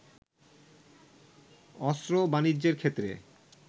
অস্ত্র বাণিজ্যের ক্ষেত্রে